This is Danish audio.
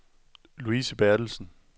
Louise Berthelsen